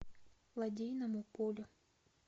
лодейному полю